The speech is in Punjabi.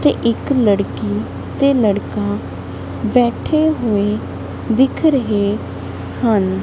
ਤੇ ਇੱਕ ਲੜਕੀ ਤੇ ਲੜਕਾ ਬੈਠੇ ਹੋਏ ਦਿੱਖ ਰਹੇ ਹਨ।